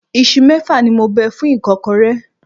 Isu mẹ́fà ni mo bẹ fún ìkọ́kọrẹ́.